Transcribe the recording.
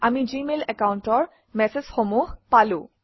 আমি জিমেইল একাউণ্টৰ মেচেজসমূহ পালো